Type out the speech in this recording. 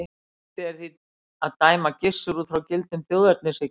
Hæpið er því að dæma Gissur út frá gildum þjóðernishyggjunnar.